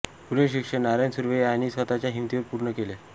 पुढील शिक्षण नारायण सुर्वे यांनी स्वतःच्या हिमतीवर पूर्ण केले